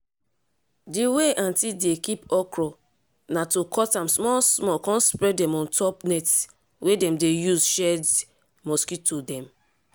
d way aunty dey kip okro na to cut am small small come spread dem on top net wey dem dey use shed mosquito dem.